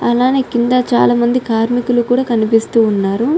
అలానే కింద చాల మంది కార్మికులు కూడా కనిపిస్తూ ఉన్నారు.